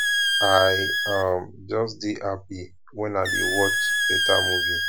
i um just dey happy wen i dey watch beta movie